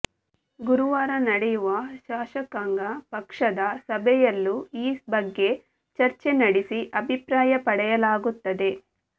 ಗುರುವಾರ ನಡೆಯುವ ಶಾಸಕಾಂಗ ಪಕ್ಷದ ಸಭೆಯಲ್ಲೂ ಈ ಬಗ್ಗೆ ಚರ್ಚೆ ನಡೆಸಿ ಅಭಿಪ್ರಾಯ ಪಡೆಯಲಾಗುತ್ತದೆ